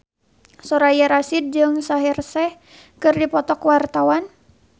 Soraya Rasyid jeung Shaheer Sheikh keur dipoto ku wartawan